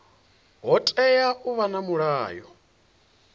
hu tea u vha na mulayo